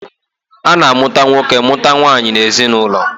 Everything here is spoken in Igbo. A na-amụta nwoke mụta nwaanyị n'ezinaụlọ.